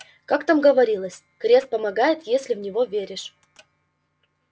как там говорилось крест помогает если в него веришь